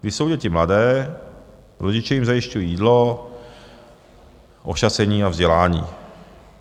Když jsou děti mladé, rodiče jim zajišťují jídlo, ošacení a vzdělání.